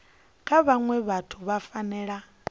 kha vhaṅwe vhathu vhu fanela